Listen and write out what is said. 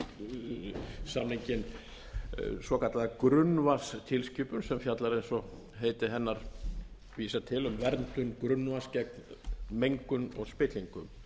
s samninginn svokallaða grunnvatnstilskipun sem fjallar eins og heiti hennar vísar til um verndun grunnvatns gegn mengun og spillingu